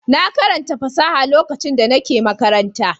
Na karanta fasaha lokacin da nake makaranta.